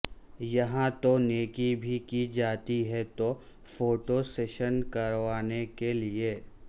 یہاں تو نیکی بھی کی جاتی ہے تو فوٹو سیشن کروانے کے لیے